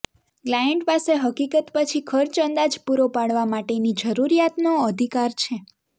client પાસે હકીકત પછી ખર્ચ અંદાજ પૂરો પાડવા માટેની જરૂરિયાતનો અધિકાર છે